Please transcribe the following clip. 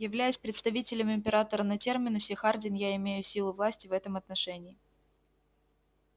являясь представителем императора на терминусе хардин я имею силу власти в этом отношении